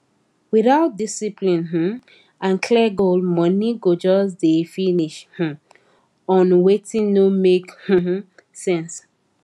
without discipline um and clear goal money go just dey finish um on wetin no make um sense